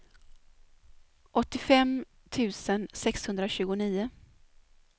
åttiofem tusen sexhundratjugonio